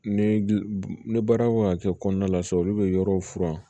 Ni baara kan ka kɛ kɔnɔna la sisan olu bɛ yɔrɔw furan